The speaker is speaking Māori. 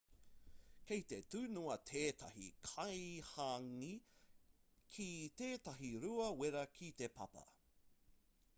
kei te tunua tētahi kai hāngī ki tētahi rua wera ki te papa